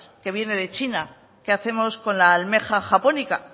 que viene de china qué hacemos con la almeja japónica